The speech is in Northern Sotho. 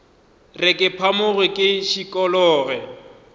re ke phamoge ke šikologe